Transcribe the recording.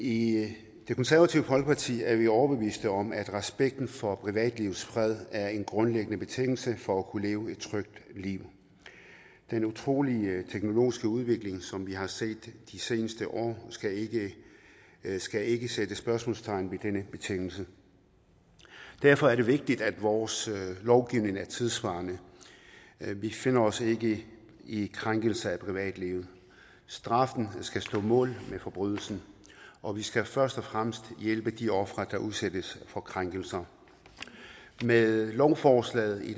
i det konservative folkeparti er vi overbeviste om at respekten for privatlivets fred er en grundlæggende betingelse for at kunne leve et trygt liv den utrolige teknologiske udvikling som vi har set de seneste år skal ikke skal ikke sætte spørgsmålstegn ved denne betingelse derfor er det vigtigt at vores lovgivning er tidssvarende vi finder os ikke i i krænkelser af privatlivet straffen skal stå mål med forbrydelsen og vi skal først og fremmest hjælpe de ofre der udsættes for krænkelser med lovforslaget